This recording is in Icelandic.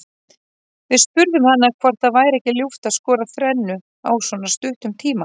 Við spurðum hana hvort það væri ekki ljúft að skora þrennu á svona stuttum tíma.